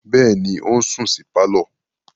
Bẹ́ẹ̀ni, ó sùn sí pálọ̀.